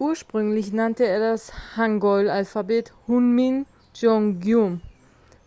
ursprünglich nannte er das hangeul-alphabet hunmin jeongeum